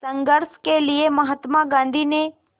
संघर्ष के लिए महात्मा गांधी ने